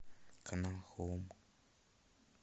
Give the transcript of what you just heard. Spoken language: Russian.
канал хоум